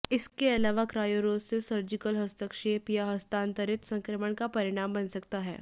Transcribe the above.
इसके अलावा क्रायूरोसिस सर्जिकल हस्तक्षेप या हस्तांतरित संक्रमण का परिणाम बन सकता है